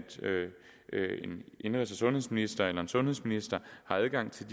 en indenrigs og sundhedsminister eller en sundhedsminister har adgang til